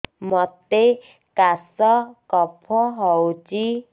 ମୋତେ କାଶ କଫ ହଉଚି